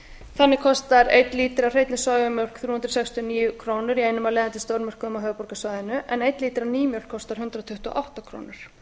þannig kostar einn lítri af af hreinni sojamjólk þrjú hundruð sextíu og níu krónur í einum af leiðandi stórmörkuðum á höfuðborgarsvæðinu en einn lítri af nýmjólk kostar hundrað tuttugu og átta krónur